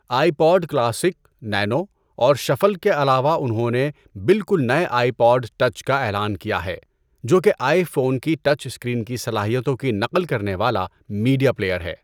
آئی pod classic, nano اور shuffle کے علاوہ انہوں نے بالکل نئے آئی پوڈ ٹچ کا اعلان کیا ہے، جو کہ آئی فون کی ٹچ اسکرین کی صلاحیتوں کی نقل کرنے والا میڈیا پلیئر ہے۔